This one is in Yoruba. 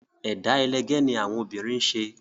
Ẹ̀dá ẹlẹgẹ́ ni àwọn obìnrin ń ṣe